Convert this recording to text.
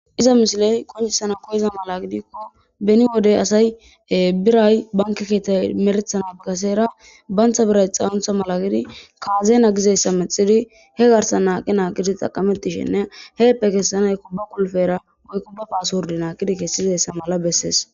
iza misiley qoncisana koyeza mala gidikko beni wodey asay biray banke keetay merethana kaseera bayntha biray xawuntha mala gidi kaazeena gizayssa mexidi he garsa naaqi naaqidi xaqamettishenne heeppe kessanay kubba kulfera woy kubba paaswurdi naaqidi kessizayssa mala bessees